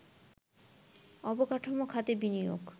অবকাঠামো খাতে বিনিয়োগ